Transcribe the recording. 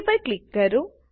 પર ક્લિક કરો